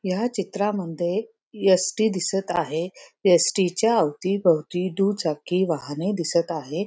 या चित्रामध्ये एस_टी दिसत आहे एस_टी च्या अवतीभोवती दुचाकी वाहने दिसत आहे.